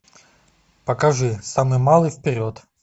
покажи самый малый вперед